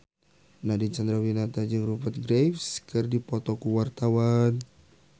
Nadine Chandrawinata jeung Rupert Graves keur dipoto ku wartawan